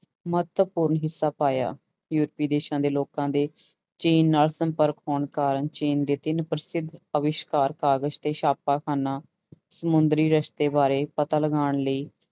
ਮਹੱਤਵਪੂਰਨ ਹਿੱਸਾ ਪਾਇਆ ਯੂਰਪੀ ਦੇਸਾਂ ਦੇ ਲੋਕਾਂ ਦੇ ਚੀਨ ਨਾਲ ਸੰਪਰਕ ਹੋਣ ਕਾਰਨ ਚੀਨ ਦੇ ਤਿੰਨ ਪ੍ਰਸਿੱਧ ਅਵਿਸ਼ਕਾਰ ਕਾਗਜ਼ ਤੇ ਛਾਪਾਖਾਨਾ ਸਮੁੰਦਰੀ ਰਸਤੇ ਬਾਰੇ ਪਤਾ ਲਗਾਉਣ ਲਈ